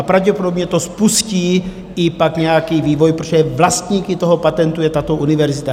A pravděpodobně to spustí i pak nějaký vývoj, protože vlastníky toho patentu je tato univerzita.